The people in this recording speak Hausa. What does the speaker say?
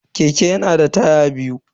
Keke yana da taya biyu ne.